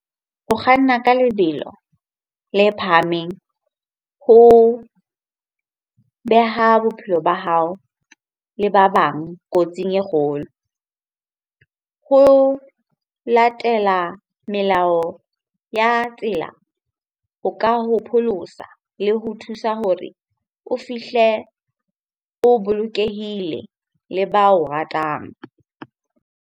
Ho kganna ka lebelo le phahameng ho beha bophelo ba hao le ba bang kotsing e kgolo. Ho latela melao ya tsela, ho ka ho pholosa le ho thusa hore o fihle o bolokehile le ba o ratang.